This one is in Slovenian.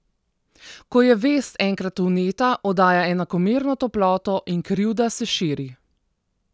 Ko je vest enkrat vneta, oddaja enakomerno toploto in krivda se širi.